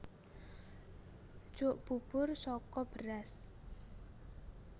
Jok bubur saka beras